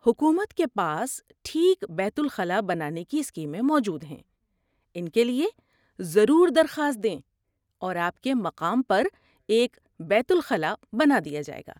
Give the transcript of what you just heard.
حکومت کے پاس ٹھیک بیت الخلا بنانے کی اسکیمیں موجود ہیں، ان کے لیے ضرور درخواست دیں اور آپ کے مقام پر ایک بیت الخلا بنا دیا جائے گا۔